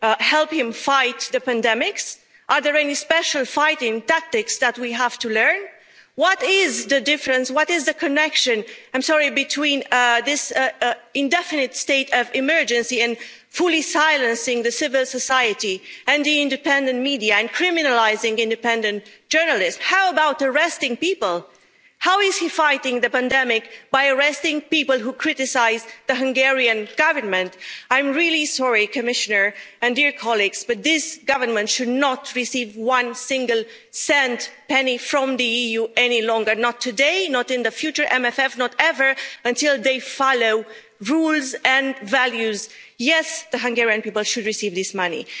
women help him fight pandemics? Are there any special fighting tactics that we have to learn? What is the connection between this and the indefinite state of emergency and fully silencing civil society and the independent media and criminalising independent journalists. And how about arresting people? How is he fighting the pandemic by arresting people who criticise the Hungarian Government? I'm really sorry, Commissioner and dear colleagues, but this government should not receive one single cent, not one penny, from the EU, any longer not today, not in the future MFF, not ever until they follow rules and values. Yes, the Hungarian people should receive